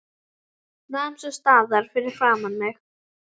Nam svo staðar fyrir framan mig.